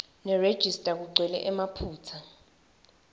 nerejista kugcwele emaphutsa